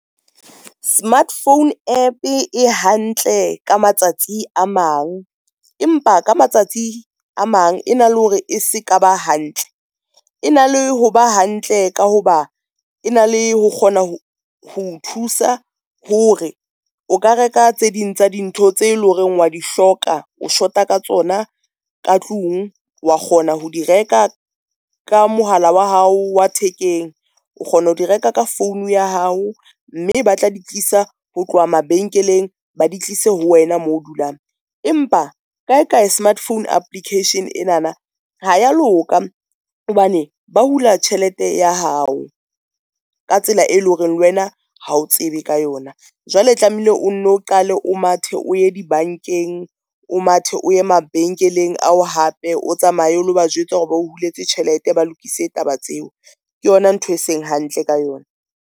Smartphone App e hantle ka matsatsi a mang, empa ka matsatsi a mang e na le hore e se ka ba hantle, e na le ho ba hantle ka ho ba e na le ho kgona ho nthusa, hore o ka reka tse ding tsa dintho tse leng hore wa di hloka o shota ka tsona ka tlung wa kgona ho di reka ka mohala wa hao wa thekeng. O kgona ho di reka ka phone ya hao, mme ba tla di tlisa ho tloha mabenkeleng, ba di tlise ho wena moo o dulang. Empa kae kae smartphone application ena na ha ya loka hobane ba hula tjhelete ya hao ka tsela, e leng hore le wena ha o tsebe ka yona. Jwale tlameile o nno, qale o mathe o ye di bankeng, o mathe o ye mabenkeleng ao hape o tsamaye o lo ba jwetsa hore ba o huletse tjhelete, ba lokise taba tseo ke yona ntho e seng hantle ka yona.